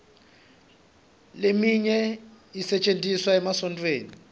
leminye isetjentiswa emasontfweni